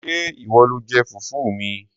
Ṣé ìwọ lo jẹ fùfú mi?